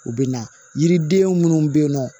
U bɛ na yiriden minnu bɛ yen nɔ